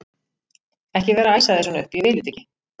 ekki vera að æsa þig svona upp. ég vil þetta ekki!